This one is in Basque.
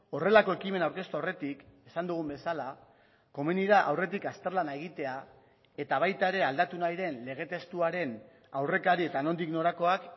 horrelako ekimena aurkeztu aurretik esan dugun bezala komeni da aurretik azterlana egitea eta baita ere aldatu nahi den lege testuaren aurrekari eta nondik norakoak